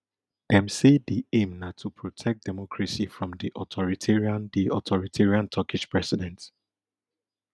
dem say di aim na to protect democracy from di authoritarian di authoritarian turkish president